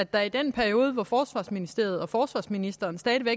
at der i den periode hvor forsvarsministeriet og forsvarsministeren stadig